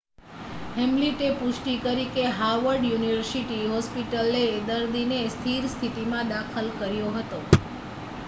હેમિલ્ટે પુષ્ટિ કરી કે હાવર્ડ યુનિવર્સિટી હોસ્પિટલે દર્દીને સ્થિર સ્થિતિમાં દાખલ કર્યો હતો